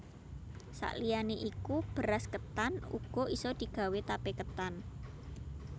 Sak liyane iku beras ketan uga isa digawé tape ketan